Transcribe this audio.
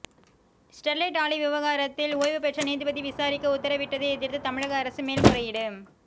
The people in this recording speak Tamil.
ஸ்டெர்லைட் ஆலை விவகாரத்தில் ஓய்வுபெற்ற நீதிபதி விசாரிக்க உத்தரவிட்டதை எதிர்த்து தமிழக அரசு மேல்முறையீடு